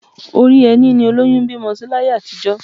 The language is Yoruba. Orí ẹní ni olóyún ń bímọ sí láyé àtijọ́